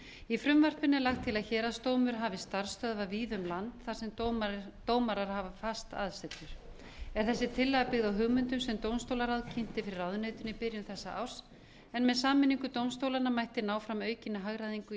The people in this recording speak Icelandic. í frumvarpinu er lagt til að héraðsdómur hafi starfsstöðvar víða um land þar sem dómarar hafa fast aðsetur er þessi tillaga byggð á hugmyndum sem dómstólaráð kynnti fyrir ráðuneytinu í byrjun þessa árs en með sameiningu dómstólanna mætti ná fram aukinni hagræðingu í